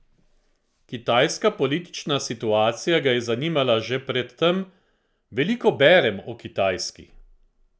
Kitajska politična situacija ga je zanimala že pred tem: "Veliko berem o Kitajski.